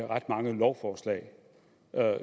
ret mange lovforslag men